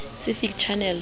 sci fi channel